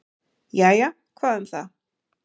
"""Jæja, hvað um það."""